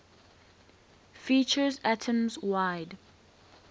features atoms wide